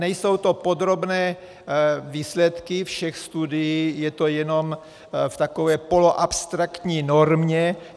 Nejsou to podrobné výsledky všech studií, je to jenom v takové poloabstraktní normě.